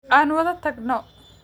Aan wada tagno